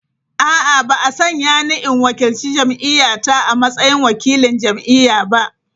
A’a, ba a sanya ni in wakilci jam’iyya ta a matsayin wakilin jam’iyya ba.